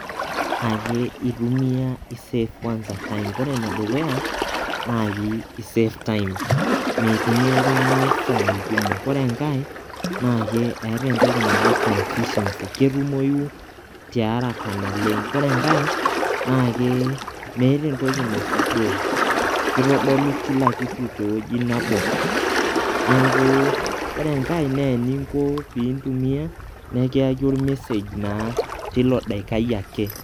ake etumia i save kwanza time ore enedukuya na kisave time, meitumia oltungani isai kumok, ore enkae eta entoki naji conficiency ketumoyu tiaraka naleng, kore enkae na kee meeta entoki naisudoo kitodolu kila kitu teweuji nabo, niaku ore enkae ore peingo pitumia na ikiyaki ol message tilo daikai ake.